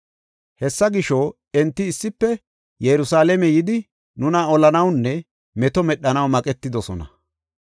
Hessa gisho enti issife Yerusalaame yidi nuna olanawunne meto medhanaw maqetidosona.